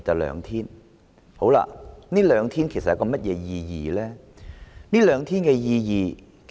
5天與7天侍產假只相差兩天，實質意義何在？